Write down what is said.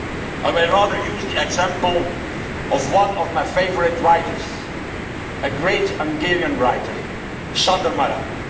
I will rather use the example of one of my favourite writers, a great Hungarian writer, Sándor Márai.